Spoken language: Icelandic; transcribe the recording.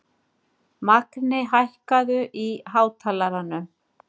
Magni, hækkaðu í hátalaranum.